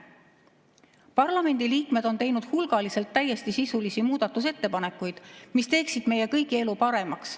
Parlamendiliikmed on teinud hulgaliselt täiesti sisulisi muudatusettepanekuid, mis teeksid meie kõigi elu paremaks.